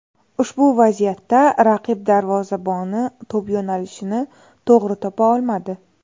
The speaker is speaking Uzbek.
Ushbu vaziyatda raqib darvozaboni to‘p yo‘nalishini to‘g‘ri topa olmadi.